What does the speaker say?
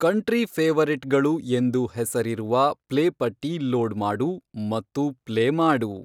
country ಫೇವರಿಟ್ಗಳು ಎಂದು ಹೆಸರಿರುವ ಪ್ಲೇಪಟ್ಟಿ ಲೋಡ್ ಮಾಡು ಮತ್ತು ಪ್ಲೇ ಮಾಡು